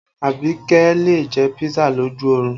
Abike lè jẹ́ pisa lójú orun